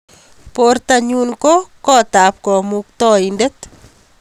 Bortonyun ko kotab kamuktaindet